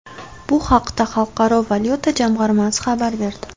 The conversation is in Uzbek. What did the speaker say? Bu haqda Xalqaro valyuta jamg‘armasi xabar berdi .